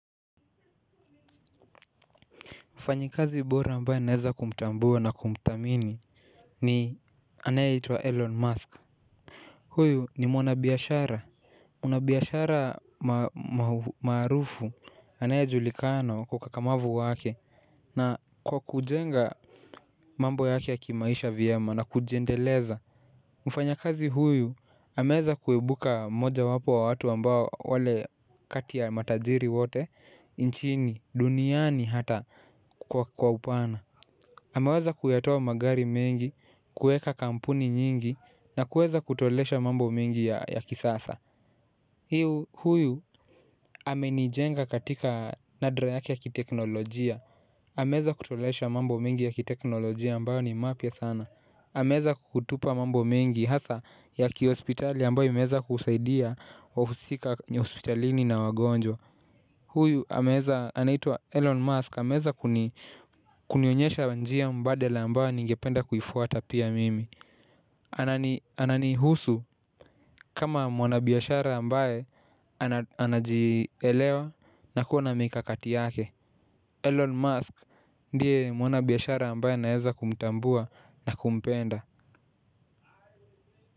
Mfanyikazi bora ambaye naweza kumtambua na kumthamini ni anayeitwa Elon Musk. Huyu ni mwana biashara kuna biashara maarufu anayejulikana kwa ukakamavu wake na kwa kujenga mambo yake ya kimaisha vyema na kujiendeleza. Mfanyakazi huyu ameweza kuibuka moja wapo wa watu ambao wale kati ya matajiri wote nchini duniani hata kwa upana ameweza kuyatoa magari mengi kuweka kampuni nyingi na kuweza kutolesha mambo mengi ya kisasa. Hiu huyu hamenijenga katika nadra yake ya kiteknolojia ameweza kutolesha mambo mengi ya kiteknolojia ambayo ni mapya sana ameweza kutupa mambo mengi hasa ya kiospitali ambayo imeweza kusaidia wahusika hospitalini na wagonjwa. Huyu ameweza anaitwa Elon Musk ameweza kunionyesha njia mbadela ambayo ningependa kuifwta pia mimi. Ananihusu kama mwanabiashara ambaye anajielewa na kuwa na mikakati yake Elon Musk ndiye mwanabiashara ambaye naeza kumtambua na kumpenda.